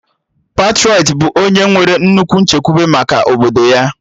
Patrọịt bụ onye nwere nnukwu nchekwube maka obodo ya